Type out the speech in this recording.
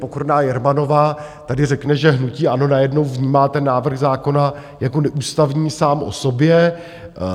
Pokorná Jermanová tady řekne, že hnutí ANO najednou vnímá ten návrh zákona jako neústavní sám o sobě.